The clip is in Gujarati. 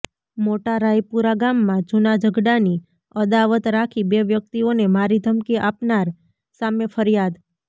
મોટારાયપુરા ગામમાં જુના ઝગડા ની અદાવત રાખી બે વ્યક્તિઓને મારી ધમકી આપનાર સામે ફરિયાદ